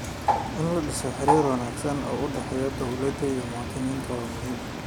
In la dhiso xiriir wanaagsan oo u dhexeeya dowladda iyo muwaadiniinta waa muhiim.